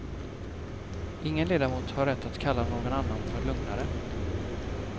Ingen ledamot har rätt att kalla någon annan för lögnare.